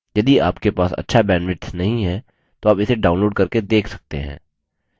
यदि आपके पास अच्छा bandwidth नहीं है तो आप इसे download करके देख सकते हैं